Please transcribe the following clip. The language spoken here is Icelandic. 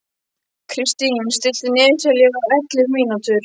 Kristine, stilltu niðurteljara á ellefu mínútur.